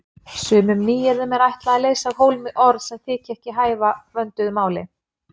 Sumum nýyrðum er ætlað að leysa af hólmi orð sem þykja ekki hæfa vönduðu máli.